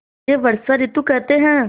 इसे वर्षा ॠतु कहते हैं